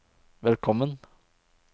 velkommen